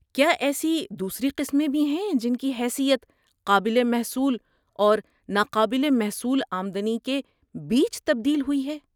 کیا ایسی دوسری قسمیں بھی ہیں جن کی حیثیت قابل محصول اور ناقابل محصول آمدنی کے بیچ تبدیل ہوئی ہے؟